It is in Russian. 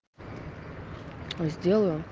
зделаю